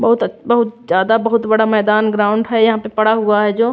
बहुत बहुत ज्यादा बहुत बड़ा मैदान ग्राउंड है यहां पे पड़ा हुआ है जो--